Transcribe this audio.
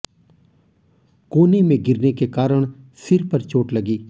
कोने में गिरने के कारण सिर पर चोट लगी